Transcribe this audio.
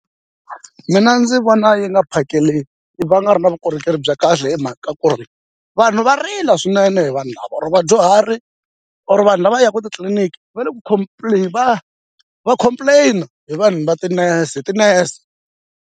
Mina ndzi vona yi nga va nga ri na vukorhokeri bya kahle hi mhaka ku ri vanhu va rila swinene hi vanhu lava or vadyuhari or vanhu lava yaka titliliniki va le ku va va complain-a hi vanhu va tinese ti-nurse.